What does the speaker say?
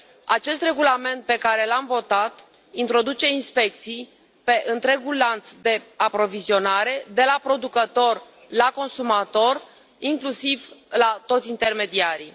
Acest regulament pe care l am votat introduce inspecții în întregul lanț de aprovizionare, de la producător la consumator, inclusiv la toți intermediarii.